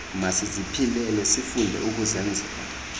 masiziphilele sifunde ukuzenzela